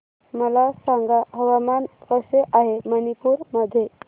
मला सांगा हवामान कसे आहे मणिपूर मध्ये